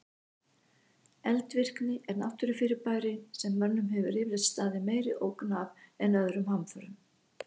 Eldvirkni er náttúrufyrirbæri sem mönnum hefur yfirleitt staðið meiri ógn af en öðrum hamförum.